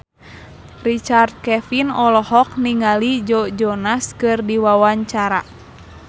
Richard Kevin olohok ningali Joe Jonas keur diwawancara